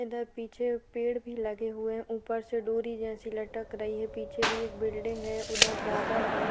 इधर पीछे पेड़ भी लगे हुए हैं ऊपर से डोरी जैसी लटक रही है पीछे भी एक बिल्डिंग है उधर बादल है।